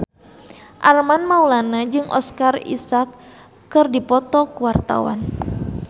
Armand Maulana jeung Oscar Isaac keur dipoto ku wartawan